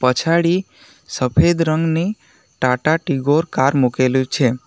પછાડી સફેદ રંગની ટાટા ટીગોર કાર મૂકેલી છે.